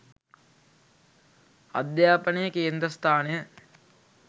අධ්‍යාපනයේ කේන්ද්‍රස්ථානය